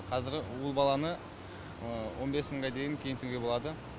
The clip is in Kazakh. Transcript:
қазір ұл баланы он бес мыңға дейін киінтуге болады